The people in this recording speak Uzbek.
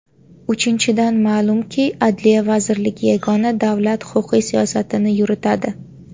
Uchinchidan , ma’lumki, Adliya vazirligi yagona davlat huquqiy siyosatini yuritadi.